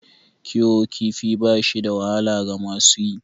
Kiwon kifi ba shi da wahala ga masu yi.